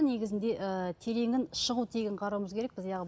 негізінде ыыы тереңін шығу тегін қарауымыз керекпіз